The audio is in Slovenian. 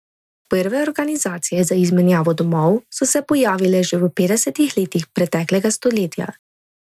Prve organizacije za izmenjavo domov so se pojavile že v petdesetih letih preteklega stoletja.